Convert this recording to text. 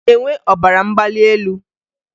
Ị na-enwe ọbara mgbali elu